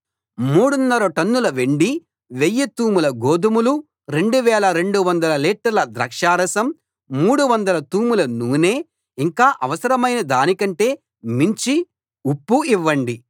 మూడున్నర టన్నుల వెండి వెయ్యి తూముల గోదుమలు రెండు వేల రెండు వందల లీటర్ల ద్రాక్షారసం మూడు వందల తూముల నూనె ఇంకా అవసరమైన దాని కంటే మించి ఉప్పు ఇవ్వండి